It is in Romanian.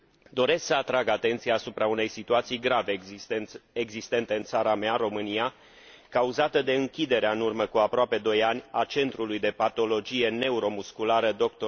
Doresc să atrag atenția asupra unei situații grave existente în țara mea, România, cauzată de închiderea, în urmă cu aproape 2 ani, a Centrului de Patologie Neuromusculară Dr.